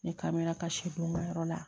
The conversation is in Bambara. Ne kamana ka yɔrɔ la